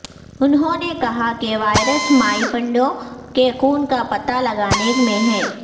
انہوں نے کہا کہ وائرس مائپنڈوں کے خون کا پتہ لگانے میں ہے